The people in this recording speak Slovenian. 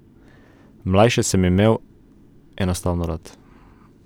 Mlajše sem imel enostavno rad.